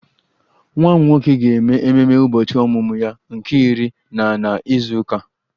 Nwa m nwoke ga-eme ememe ụbọchị ọmụmụ ya nke iri na na izu ụka a